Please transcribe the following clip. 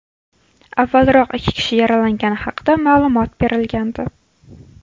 Avvalroq, ikki kishi yaralangani haqida ma’lumot berilgandi.